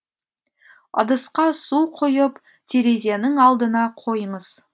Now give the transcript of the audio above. ыдысқа су құйып терезенің алдына қойыңыз